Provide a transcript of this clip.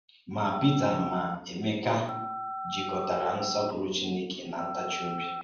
Mà Pétèr mà Emeka jikọ̀tárà nsọ́pùrụ̀ Chínèkè na ntáchì-ọ̀bì.